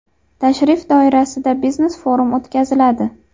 Tashrif doirasida biznes-forum o‘tkaziladi.